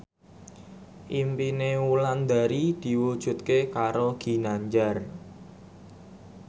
impine Wulandari diwujudke karo Ginanjar